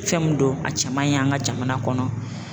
Fɛn mun don a cɛ man ɲi an ka jamana kɔnɔ.